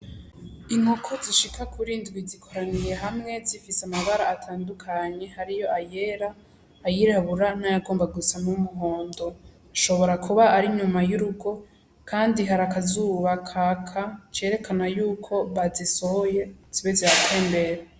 Inkoko zishika kiri indwi zikoraniye hamwe, zifise amabara atandukanye, harimwo ayera, ayirabura n'ayagomba gusa n'umuhondo. Hashobora kuba ari inyuma y'urugo kandi hari akazuba kaka kerekana yuko bazisohoye zibe ziratembera.